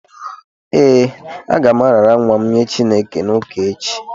Ee, aga m arara nwa m nye Chineke n’ụka echi